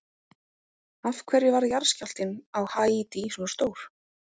Af hverju varð jarðskjálftinn á Haítí svona stór?